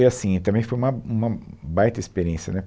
E, assim, também foi uma uma baita experiência, né?